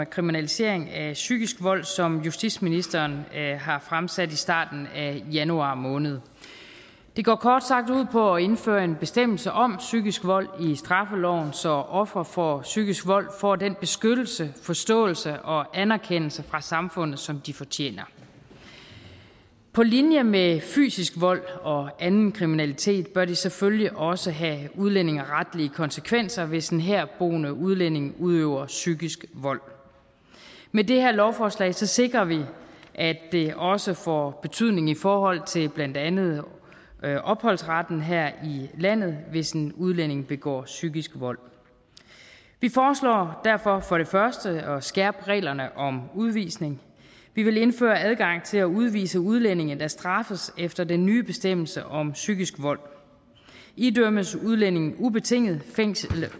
kriminalisering af psykisk vold som justitsministeren har fremsat i starten af januar måned det går kort sagt ud på at indføre en bestemmelse om psykisk vold i straffeloven så ofre for psykisk vold får den beskyttelse forståelse og anerkendelse fra samfundet som de fortjener på linje med at udøve fysisk vold og anden kriminalitet bør det selvfølgelig også have udlændingeretlige konsekvenser hvis en herboende udlænding udøver psykisk vold med det her lovforslag sikrer vi at det også får betydning i forhold til blandt andet opholdsretten her i landet hvis en udlænding begår psykisk vold vi foreslår derfor for det første at skærpe reglerne om udvisning vi vil indføre adgang til at udvise udlændinge der straffes efter den nye bestemmelse om psykisk vold idømmes udlændinge ubetinget